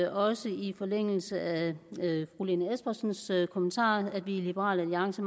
er også i forlængelse af fru lene espersens kommentar at vi i liberal alliance